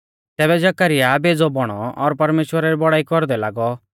तैबै जकरयाह बेज़ौ बौणौ और परमेश्‍वरा री बौड़ाई कौरदै लागौ